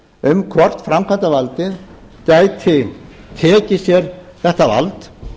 um hvort framkvæmdarvaldið gæti tekið sér þetta vald